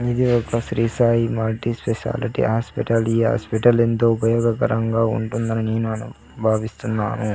ఇది ఒక Shri Sai multi speciality hospital ఈ హాస్పిటల్ ఎంతో ఉపయోగకరంగా ఉంటుందని నీనాను భావిస్తున్నాను.